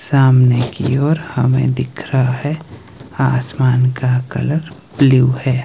सामने की ओर हमें दिख रहा है आसमान का कलर ब्लू है।